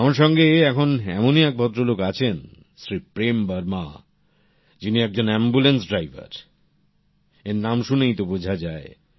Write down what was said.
আমার সঙ্গে এখন এমনই এক ভদ্রলোক আছেন শ্রী প্রেম বর্মা যিনি একজন অ্যাম্বুল্যান্স ড্রাইভার এঁর নাম শুনেই তা বোঝা যায়